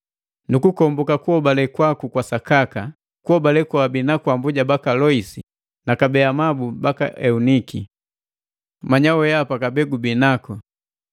Nukukomboka kuhobale kwaku kwa sakaka, kuhobale kojubii naku mbuja waku Loisi, na kabee, amabu baku Euniki. Manya wehapa kabee gubi naku.